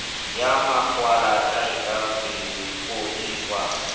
ya makwalata e ka fodiswa